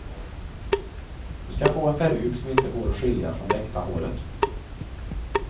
Du ska få en peruk som inte går att skilja från det äkta håret.